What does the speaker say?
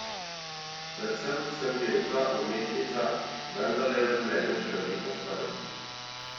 Predvsem sem pevka, umetnica, vendar je v življenju še veliko stvari?